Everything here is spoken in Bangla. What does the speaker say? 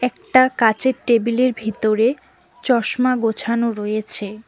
একটা কাঁচের টেবিলের ভিতরে চশমা গোছানো রয়েছে।